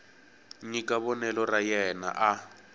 nyika vonelo ra yena a